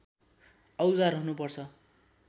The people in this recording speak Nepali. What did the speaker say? औजार हुनु पर्छ